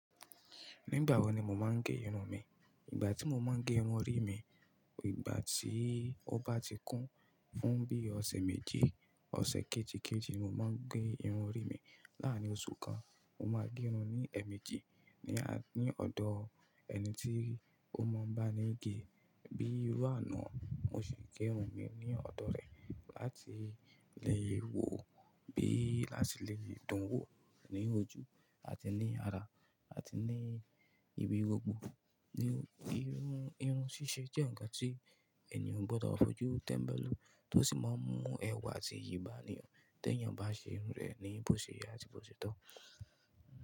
Nígbà wo ni mo máa ń gé irun mi? Ìgbà tí mo máa ń gé irun orí mi, ìgbà tí ó bá ti kún fún bí ọ̀sẹ̀ méjì, ọ̀sẹ̀ kejìkejì ni mo máa ń gé irun rí mi. Láàárín oṣù kan, mo máa gé irun ní ẹ̀ẹ̀mejì ní à-- ní ọ̀dọ̀ ẹni tí ó mọ̀ bá ni gé. Bíi iru ana, mo sì gé irun mi ní ọ̀dọ̀ rẹ̀ láti lè wò ó bí àti lè fi dun wò ó ní ojú àti ní ara àti ní ibi gbogbo. Irun, irun ṣíṣe jẹ́ ǹkan tí ènìyàn o gbọdọ̀ fojú tẹ́mbẹ́lú tó sì máa ń mú ẹwà àti iyi ba ni tí ènìyàn bá ṣe irun rẹ̀ ní bóò ṣe yẹ àti bóò ṣe tọ́.